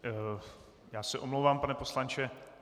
Já se omlouvám, pane poslanče.